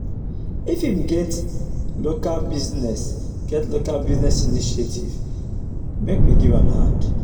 if im get local business get local business initiative make we give am hand.